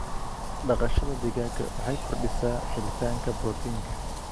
Dhaqashada digaaga waxay kordhisaa helitaanka borotiinka.